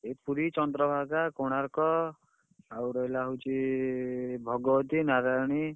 ଏଇ ପୁରୀ, ଚନ୍ଦ୍ରଭାଗା, କୋଣାର୍କ ଆଉ ରହିଲା ହଉଛି, ଭଗବତୀ, ନାରାୟଣୀ।